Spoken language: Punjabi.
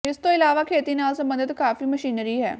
ਇਸ ਤੋਂ ਇਲਾਵਾ ਖੇਤੀ ਨਾਲ ਸਬੰਧਤ ਕਾਫੀ ਮਸ਼ੀਨਰੀ ਹੈ